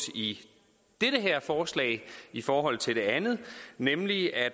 i det her forslag set i forhold til det andet nemlig at